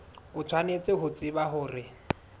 o tshwanetse ho tseba hore